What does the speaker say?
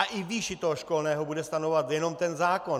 A i výši toho školného bude stanovovat jenom ten zákon.